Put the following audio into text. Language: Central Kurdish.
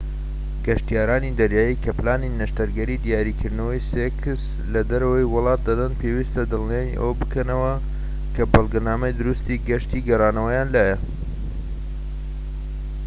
گەشتیارانی دەریایی کە پلانی نەشتەرگەری دیاریکردنەوەی سێکس لە دەرەوەی وڵات دەدەن پێویستە دڵنیای ئەوە بکەنەوە کە بەڵگەنامەی دروستی گەشتی گەڕانەوەیان لایە